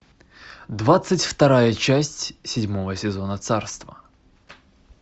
двадцать вторая часть седьмого сезона царство